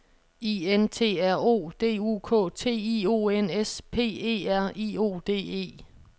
I N T R O D U K T I O N S P E R I O D E